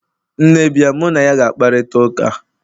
nne bia, mu na ya ga-akparita ụka?